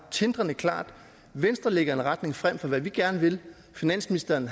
tindrende klart venstre lægger en retning frem for hvad vi gerne vil finansministeren